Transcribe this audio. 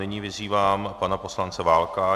Nyní vyzývám pana poslance Válka.